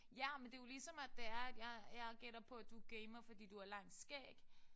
Ja men det jo ligesom at det er at jeg jeg gætter på at du gamer fordi du har langt skæg